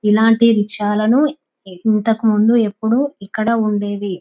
ఇలాంటి రిక్షాల ను ఇంతకుముందు ఎప్పుడూ ఇక్కడ ఉండేది.